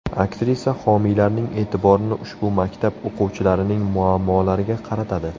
Aktrisa homiylarning e’tiborini ushbu maktab o‘quvchilarining muammolariga qaratadi.